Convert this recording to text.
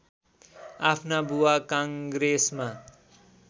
आफ्ना बुबा काङ्ग्रेसमा